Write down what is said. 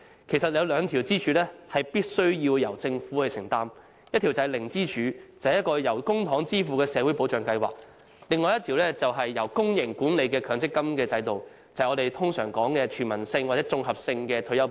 其實，有兩根支柱必須由政府承擔，一根是"零支柱"，即由公帑支付的社會保障計劃；另一根是由公營管理的強積金制度，就是我們所講的全民性或綜合性退休保障。